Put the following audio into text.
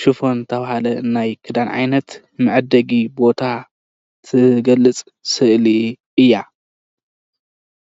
ሹፈን ዝበሃል ዝበሃል መሸጢ እዩ።